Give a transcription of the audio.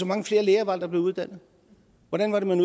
mange flere læger var det der blev uddannet hvordan var det man